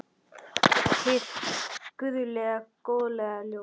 Hið guðlega góðlega ljós.